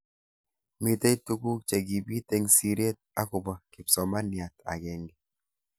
Mitei tukuk chekibit eng siret akobo kipsomaniat agenge.